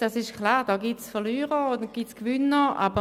Es ist klar, dass es bei diesem KEnG Verlierer und Gewinner gibt.